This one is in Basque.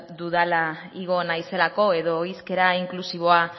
dudala igo naizelako edo hizkera inklusiboa